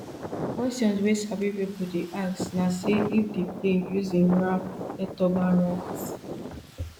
kwesions wey sabi pipo dey ask na if di plane use im ram air turbine rat